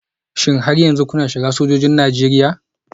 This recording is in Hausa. Shin har yanzu kuna shiga sojojin Najeriya?